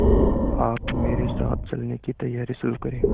आप मेरे साथ चलने की तैयारी शुरू करें